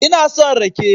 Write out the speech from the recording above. Ina son rake